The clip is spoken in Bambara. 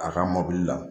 A ka mɔbili la